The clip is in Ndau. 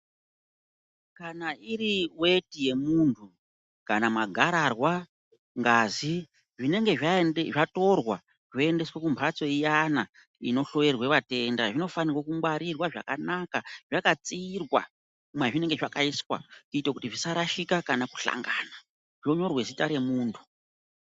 Kana iri weti yemunthu kana magararwa ,ngazi zvinenge zvaende zvatorwa zvoendeswe kumphatso iyana inohloyerwe vatenda, zvinofanirwe kungwarirwa zvakanaka, zvakatsiirwa mwazvinenge zvakaiswa, kuite kuti zvisarashika kana kuhlangana, zvonyorwe zita remuntu.